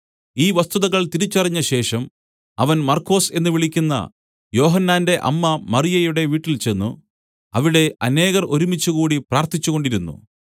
ഈ വസ്തുതകൾ തിരിച്ചറിഞ്ഞ ശേഷം അവൻ മർക്കൊസ് എന്നു വിളിക്കുന്ന യോഹന്നാന്റെ അമ്മ മറിയയുടെ വീട്ടിൽചെന്ന് അവിടെ അനേകർ ഒരുമിച്ചുകൂടി പ്രാർത്ഥിച്ചുകൊണ്ടിരുന്നു